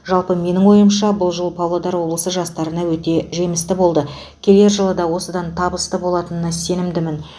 жалпы менің ойымша бұл жыл павлодар облысы жастарына өте жемісті болды келер жылы да осыдан табысты болатынына сенімдімін